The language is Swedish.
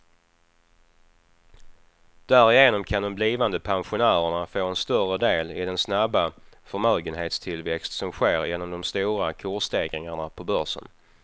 Därigenom kan de blivande pensionärerna få en större del i den snabba förmögenhetstillväxt som sker genom de stora kursstegringarna på börsen.